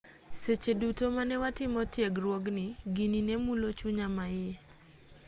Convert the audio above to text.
seche duto mane watimo tiegruogni gini ne mulo chunya maiye